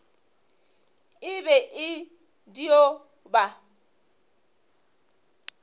e be e dio ba